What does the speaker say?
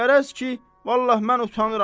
Qərəz ki, vallah mən utanıram.